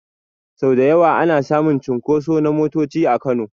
Sau da yawa ana samun cunkoso na motoci a Kano.